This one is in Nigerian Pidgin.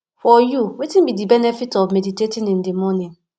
for you wetin be di benefit of meditating in di morning